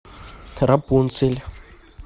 рапунцель